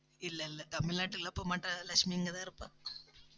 இல்லை, இல்லை தமிழ்நாட்டுல போகமாட்டா லட்சுமி இங்கதான் இருப்பா